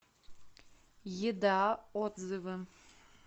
еда отзывы